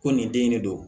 Ko nin den in de don